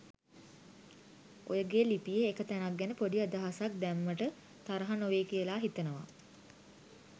ඔයගේ ලිපියේ එක තැනක් ගැන පොඩි අදහසක් දැම්මට තරහ නොවෙයි කියලා හිතනවා.